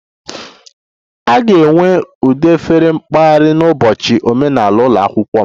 A ga-enwe ụdị efere mpaghara n'ụbọchị omenala ụlọ akwụkwọ m